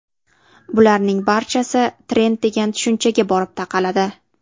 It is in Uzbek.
Bularning barchasi trend degan tushunchaga borib taqaladi.